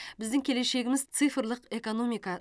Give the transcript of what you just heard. біздің келешегіміз цифрлық экономика